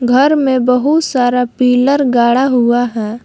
घर में बहुत सारा पिलर गाढ़ा हुआ है।